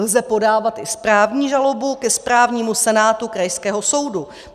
Lze podávat i správní žalobu ke správnímu senátu krajského soudu.